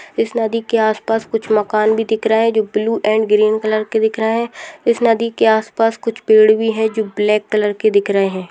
इस नदी के आस पास कुछ मकान भी दिख रहा है जो ब्लू एंड ग्रीन कलर के दिख रहा है इस नदी के आस पास कुछ पेड़ भी है जो ब्लैक कलर के दिख रहे हैं।